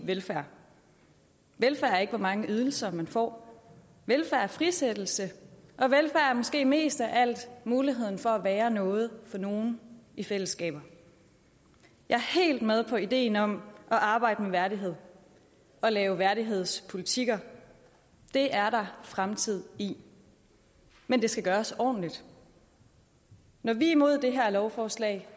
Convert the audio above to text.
velfærd velfærd er ikke hvor mange ydelser man får velfærd er frisættelse og velfærd er måske mest af alt muligheden for at være noget for nogen i fællesskaber jeg er helt med på ideen om at arbejde med værdighed og lave værdighedspolitikker det er der fremtid i men det skal gøres ordentligt når vi er imod det her lovforslag